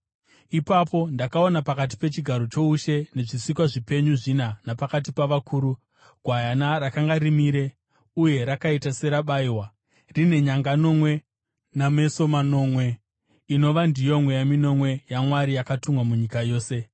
Ipapo ndakaona pakati pechigaro choushe nezvisikwa zvipenyu zvina napakati pavakuru, Gwayana rakanga rimire uye rakaita serabayiwa, rine nyanga nomwe nameso manomwe, inova ndiyo mweya minomwe yaMwari yakatumwa munyika yose.